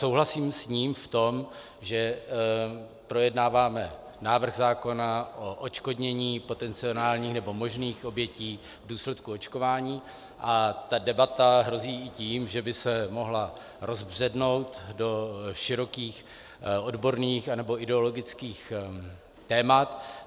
Souhlasím s ním v tom, že projednáváme návrh zákona o odškodnění potenciálních nebo možných obětí v důsledku očkování a že debata hrozí i tím, že by se mohla rozbřednout do širokých odborných nebo ideologických témat.